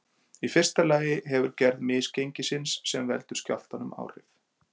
Í fyrsta lagi hefur gerð misgengisins sem veldur skjálftanum áhrif.